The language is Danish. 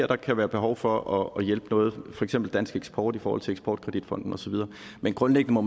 der kan være behov for at hjælpe noget for eksempel dansk eksport i forhold til eksport kredit fonden og så videre men grundlæggende må